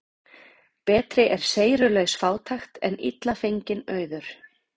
Betri er seyrulaus fátækt en illa fenginn auður.